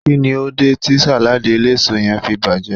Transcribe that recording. kini o de ti saladi eleso yen fi baje?